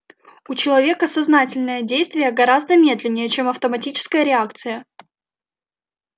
у человека сознательное действие гораздо медленнее чем автоматическая реакция